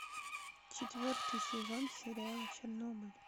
четвертый сезон сериала чернобыль